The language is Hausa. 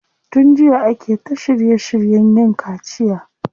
Tun jiya ake ta shirye shiryen yin kaciya.